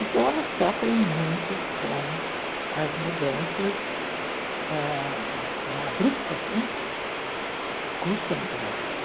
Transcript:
Então, elas sofrem muito com as mudanças ãh abruptas, que custam para se